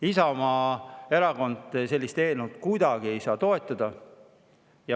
Isamaa Erakond ei saa sellist eelnõu kuidagi toetada.